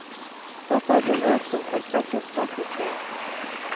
Dette er beløp som kan trekkes sterkt i tvil.